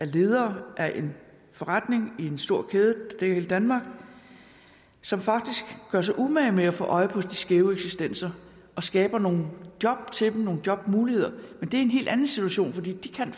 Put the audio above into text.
ledere af en forretning i en stor kæde i danmark som faktisk gør sig umage med at få øje på de skæve eksistenser og skaber nogle job til dem nogle jobmuligheder men det er en helt anden situation for de kan